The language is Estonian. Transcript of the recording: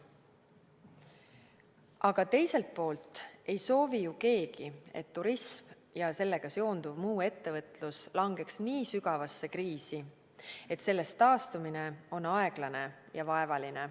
Aga teiselt poolt ei soovi ju keegi, et turism ja sellega seonduv muu ettevõtlus langeks nii sügavasse kriisi, et sellest taastumine on aeglane ja vaevaline.